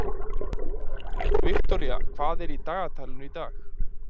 Viktoría, hvað er í dagatalinu í dag?